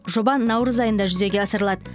жоба наурыз айында жүзеге асырылады